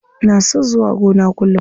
Ina son zuwa gona kullum.